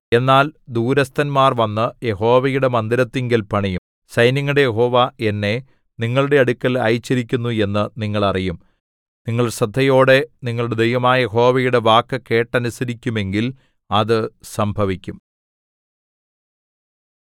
എന്നാൽ ദൂരസ്ഥന്മാർ വന്നു യഹോവയുടെ മന്ദിരത്തിങ്കൽ പണിയും സൈന്യങ്ങളുടെ യഹോവ എന്നെ നിങ്ങളുടെ അടുക്കൽ അയച്ചിരിക്കുന്നു എന്നു നിങ്ങൾ അറിയും നിങ്ങൾ ശ്രദ്ധയോടെ നിങ്ങളുടെ ദൈവമായ യഹോവയുടെ വാക്കു കേട്ടനുസരിക്കുമെങ്കിൽ അത് സംഭവിക്കും